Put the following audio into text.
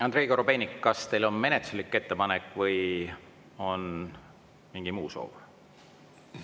Andrei Korobeinik, kas teil on menetluslik ettepanek või on mingi muu soov?